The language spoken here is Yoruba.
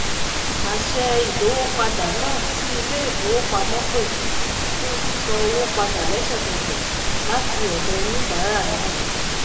àṣẹ ìdówópadà náà tí ileifowopamọ ṣ pè fún sísanwó padà lẹsẹkẹsẹ láti ọdọ oníbàárà náà